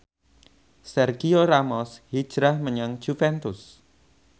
Sergio Ramos hijrah menyang Juventus